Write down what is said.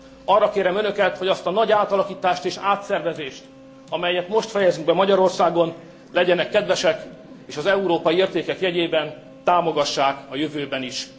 Arra kérem önöket, hogy azt a nagy átalakítást és átszervezést, amelyet most fejezünk be Magyarországon, legyenek kedvesek és az európai értékek jegyében támogassák a jövőben is.